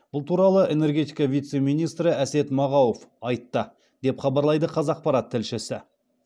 бұл туралы энергетика вице министрі әсет мағауов айтты деп хабарлайды қазақпарат тілшісі